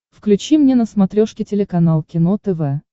включи мне на смотрешке телеканал кино тв